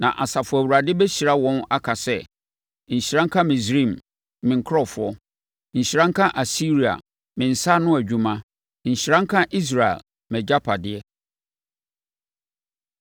Na Asafo Awurade bɛhyira wɔn aka sɛ, “Nhyira nka Misraim, me nkurɔfoɔ. Nhyira nka Asiria me nsa ano adwuma. Nhyira nka Israel mʼagyapadeɛ.”